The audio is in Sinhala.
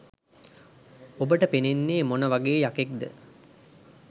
ඔබට පෙනෙන්නේ මොන වගේ යකෙක්ද